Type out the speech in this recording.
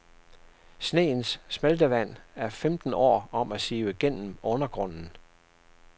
Sneens smeltevand er femten år om at sive igennem undergrunden.